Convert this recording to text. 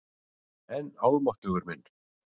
En almáttugur minn.